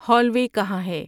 hall وے کہاں ہے